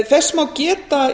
þess má geta